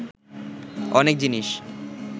অনেক জিনিস